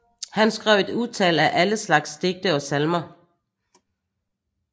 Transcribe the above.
Han skrev et utal af alle slags digte og salmer